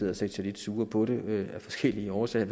har set sig lidt sure på det af forskellige årsager